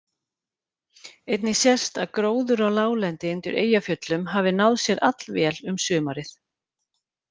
Einnig sést að gróður á láglendi undir Eyjafjöllum hafði náð sér allvel um sumarið.